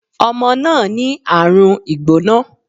Omo náà ní àrùn ìgbóná